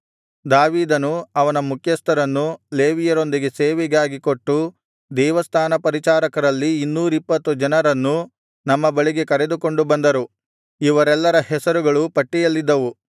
ದಾವೀದನೂ ಅವನ ಮುಖ್ಯಸ್ಥರನ್ನು ಲೇವಿಯರೊಂದಿಗೆ ಸೇವೆಗಾಗಿ ಕೊಟ್ಟು ದೇವಸ್ಥಾನ ಪರಿಚಾರಕರಲ್ಲಿ ಇನ್ನೂರಿಪ್ಪತ್ತು ಜನರನ್ನೂ ನಮ್ಮ ಬಳಿಗೆ ಕರೆದುಕೊಂಡು ಬಂದರು ಇವರೆಲ್ಲರ ಹೆಸರುಗಳು ಪಟ್ಟಿಯಲ್ಲಿದ್ದವು